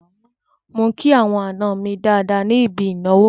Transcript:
Mò ń kí àwọn àna mi dáadáa ní ibi ìnáwó.